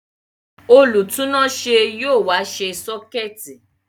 Olùtúnáṣé yóò wá ṣe sọ́kẹ̀tì